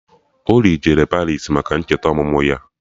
Oly jere Paris maka ncheta ọmụmụ ya